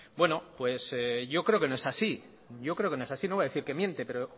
bueno pues yo creo que no es así yo creo que no es así no voy a decir que miente pero